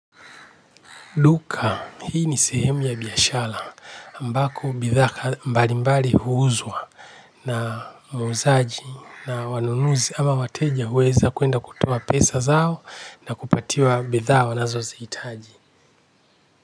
Duka hii ni sehemu ya biashala ambako bidhaa ka mbali mbali huuzwa na muuzaji na wanunuzi ama wateja uweza kuenda kutoa pesa zao na kupatiwa bidhaa wanazo ziitaji.